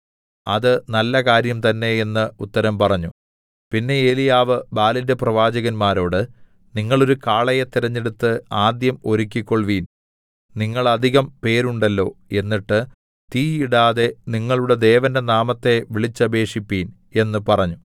അത് നല്ലകാര്യം തന്നെ എന്ന് ഉത്തരം പറഞ്ഞു പിന്നെ ഏലീയാവ് ബാലിന്റെ പ്രവാചകന്മാരോട് നിങ്ങൾ ഒരു കാളയെ തിരഞ്ഞെടുത്ത് ആദ്യം ഒരുക്കിക്കൊൾവിൻ നിങ്ങൾ അധികം പേരുണ്ടല്ലോ എന്നിട്ട് തീ ഇടാതെ നിങ്ങളുടെ ദേവന്റെ നാമത്തെ വിളിച്ചപേക്ഷിപ്പിൻ എന്ന് പറഞ്ഞു